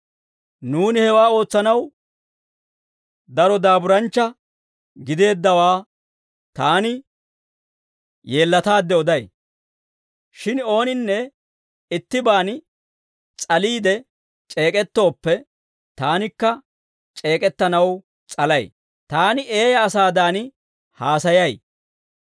Nuuni hewaa ootsanaw daro daaburanchcha gideeddawaa taani yeellataadde oday. Shin ooninne ittibaan s'aliide c'eek'ettooppe, taanikka c'eek'ettanaw s'alay; taani eeyaa asaadan haasayay.